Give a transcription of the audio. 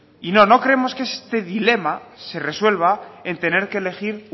y no no creemos que este dilema se resuelva en tener que elegir